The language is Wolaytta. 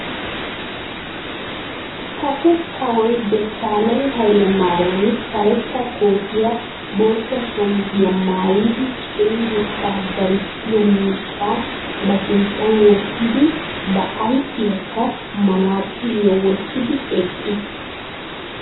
Kase kawoy desalegna hayilemariyami karetta kootiya bootta shamiziya maayidi cenggurssa darissiya miishshaa ba sinttan wottidi ba ayipiyankka manaxiriya wottidi eqqis.